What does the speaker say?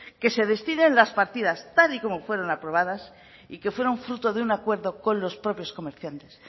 que se destinen las partidas tal y como fueron aprobadas y que fueron fruto de un acuerdo con los propios comerciantes